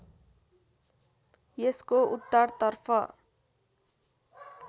यसको उत्तरतर्फ